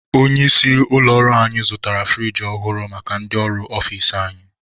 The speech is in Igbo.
Onye isi ụlọ ọrụ anyị zụtara furigi ọhụrụ maka ndị ọrụ ọfici anyị.